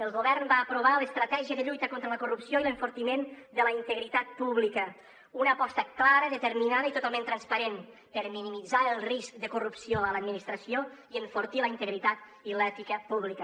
el govern va aprovar l’estratègia de lluita contra la corrupció i l’enfortiment de la integritat pública una aposta clara determinada i totalment transparent per minimitzar el risc de corrupció a l’administració i enfortir la integritat i l’ètica pública